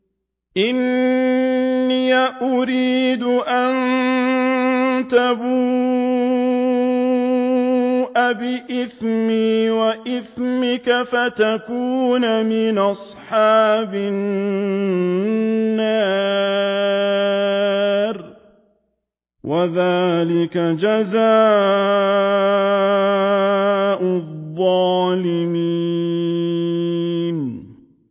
إِنِّي أُرِيدُ أَن تَبُوءَ بِإِثْمِي وَإِثْمِكَ فَتَكُونَ مِنْ أَصْحَابِ النَّارِ ۚ وَذَٰلِكَ جَزَاءُ الظَّالِمِينَ